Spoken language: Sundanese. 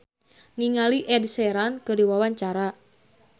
Indra L. Bruggman olohok ningali Ed Sheeran keur diwawancara